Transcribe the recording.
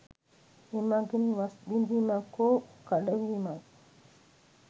එමගින් වස් බිඳීමක් හෝ කඩවීමක්